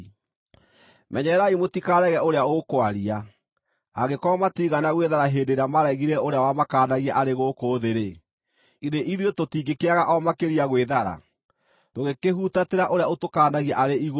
Menyererai mũtikarege ũrĩa ũkwaria. Angĩkorwo matiigana gwĩthara hĩndĩ ĩrĩa maaregire ũrĩa wamakaanagia arĩ gũkũ thĩ-rĩ, githĩ ithuĩ tũtingĩkĩaga o makĩria gwĩthara, tũngĩkĩhutatĩra ũrĩa ũtũkaanagia arĩ igũrũ?